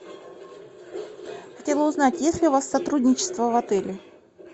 хотела узнать есть ли у вас сотрудничество в отеле